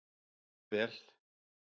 Það er vel.